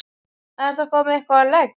Er það komið eitthvað á legg?